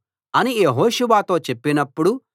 అని యెహోషువతో చెప్పినప్పుడు